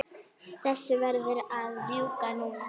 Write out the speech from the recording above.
Þessu verður að ljúka núna